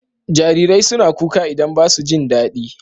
Jarirai suna kuka idan ba su jin dadi.